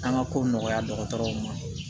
An ka ko nɔgɔya dɔgɔtɔrɔw ma